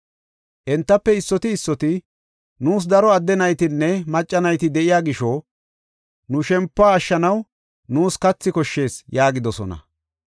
Entafe issoti issoti, “Nuus, daro adde naytinne macca nayti de7iya gisho nu shempuwa ashshanaw nuus kathi koshshees” yaagidosona.